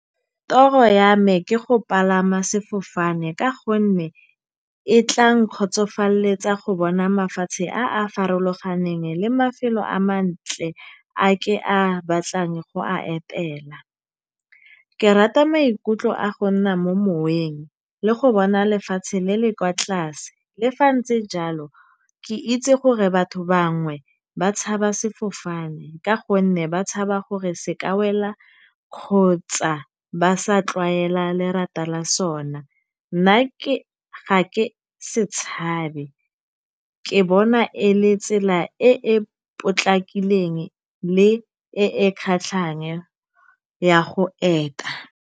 Toro ya me ke go palama sefofane ka gonne e tla nkgotsofaleletsa go bona mafatshe a a farologaneng le mafelo a mantle a ke a batlang go a etela. Ke rata maikutlo a go nna mo moweng le go bona lefatshe le le kwa tlase. Le fa ntse jalo ke itse gore batho bangwe ba tshaba sefofane ka gonne ba tshaba gore se ka wela kgotsa ba sa tlwaela lerata la sona. Nna ga ke se tshabe, ke bona e le tsela e e potlakileng le e e kgatlhang ya go eta.